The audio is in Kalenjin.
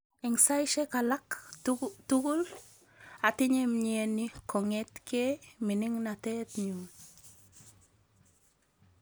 Eng saishek alak tugul atinye mnyeni kongetkei miningatet nyu.